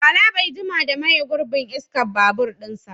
Bala bai jima da maye gurbin iskar babur ɗinsa ba